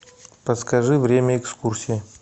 подскажи время экскурсий